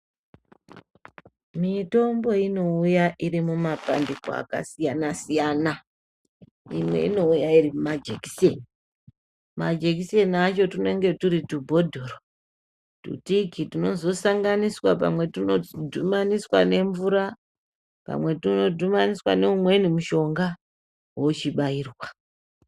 Mitombo inouya irimumabandiko akasiyana-siyana. Imwe inouya irimuma jekiseni. Majekiseni acho tunenge turi tubhodhoro tutiki tunozosanganiswa, pamwe tunodhumaniswa nemvura pamwe tunodhumaniswa neumweni mushonga wochibairwa.